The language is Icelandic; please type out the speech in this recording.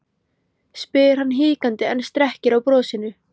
spyr hann hikandi en strekkir á brosinu.